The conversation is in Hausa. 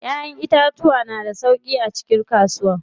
Ƴaƴan itatuwa na da sauƙi a cikin kasuwar.